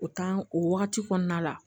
O o wagati kɔnɔna la